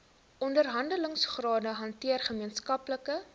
onderhandelingsrade hanteer gemeenskaplike